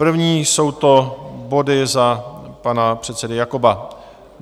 První jsou to body za pana předsedy Jakoba.